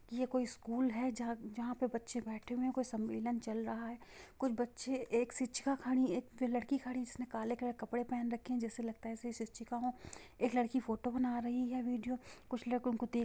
ये कोई स्कूल है जाह जहाँ पर बच्चे बैठे हुए है| कुछ संवेलां चल रहा है| कुछ बच्चे एक शिक्षा खड़ी है| एक लड़की खड़ी है जिसने काले कलर कपड़े पेहेन रखी है जैसे लगता है सच्ची का हो| एक लड़की फोटो बना रही है विडिओ कुछ लोगों को देख--